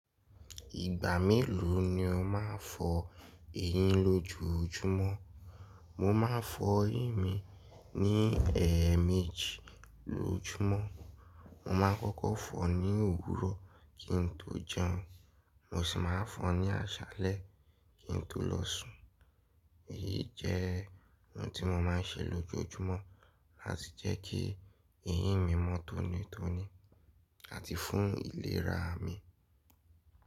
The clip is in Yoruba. Ìgbà mélòó ni o máa ń fọ eyín lójojúmọ́? Mo máa ń fọ eyín mi ní ẹẹ́ẹ̀méjì lójumọ́. Mo máa ń kọ́kọ́ fọ ní òwúrọ̀ kí n tó jẹun, mo sì máa ń fọ ní àṣálẹ́ kí n tó lọ sùn. Èyí jẹ́ ohun tí mo máa ń ṣe lójoojúmọ́ láti jẹ́ kí eyín mi mọ́ tónítóní àti fún ìlera mi.